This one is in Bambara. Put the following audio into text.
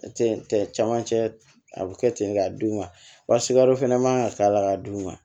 Camancɛ a bɛ kɛ ten k'a dun wa sikaro fana man ka k'a la k'a dun